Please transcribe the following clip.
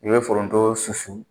I be foronto susu